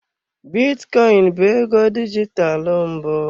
Bitcoin bụ ego dijitalụ mbụ.